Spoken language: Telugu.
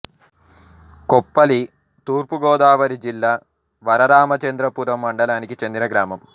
కొప్పల్లి తూర్పు గోదావరి జిల్లా వరరామచంద్రపురం మండలానికి చెందిన గ్రామం